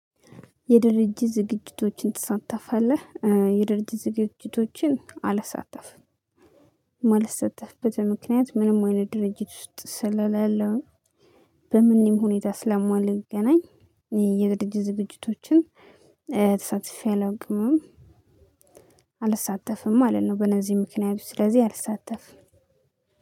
የድርጅት ዝግጅቶችን ትሳተፋለህ? የድርጅት ዝግጅቶችን አልሳተፍም። የማልሳተፍበት ምክንያት ምንም አይነት ድርጅት ውስጥ ስለሌለሁ በምንም ሁኔታ ስለማልገናኝ የድርጅት ዝግጅቶችን ተሳትፌ አላውቅምም፤ አልሳተፍም ማለት ነው በነዚህ ምክንያቶች። ስለዚህ አልሳተፍም።